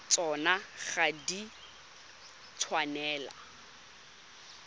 tsona ga di a tshwanela